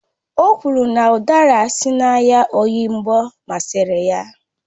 O kwuru na udara si n'ahịa oyingbo masịrị ya